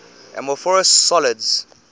amorphous solids